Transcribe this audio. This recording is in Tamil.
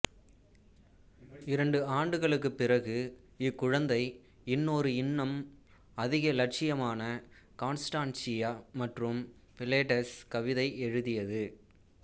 இரண்டு ஆண்டுகளுக்குப் பிறகு இக்குழந்தை இன்னொரு இன்னும் அதிக லட்சியமான கான்ஸ்டான்ஷியா மற்றும் பிலெட்டஸ் கவிதை எழுதியது